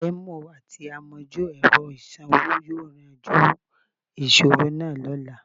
Taiwo àti àmojú-ẹ̀rọ ìsanwó yóò yanjú ìṣòro náà lọ́la